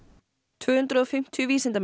tvö hundruð og fimmtíu vísindamenn